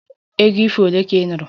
Egwu ifo ole ka ị nụrụ?